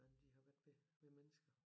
Hvordan de har været ved ved mennesker